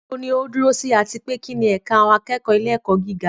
Níbo ni ó dúró sí, àti pé kí ni ẹ̀ka àwọn akẹ́kọ̀ọ́ ilé-ẹ̀kọ́ gíga?